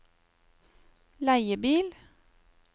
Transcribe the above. leiebil